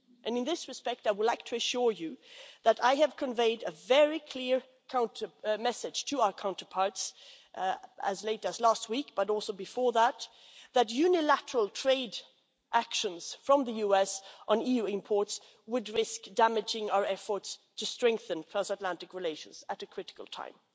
In that regard, I would like to assure you that I have conveyed a very clear message to our counterparts as late as last week and also before that that unilateral trade actions from the USA on EU imports would risk damaging our efforts to strengthen transatlantic relations at a critical time.